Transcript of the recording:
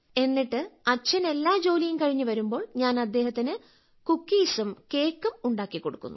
എന്നിട്ട് അച്ഛൻ എല്ലാ ജോലിയും കഴിഞ്ഞ് വരുമ്പോൾ ഞാൻ അദ്ദേഹത്തിന് കുക്കിസും കേക്കും ഉണ്ടാക്കി കൊടുക്കുന്നു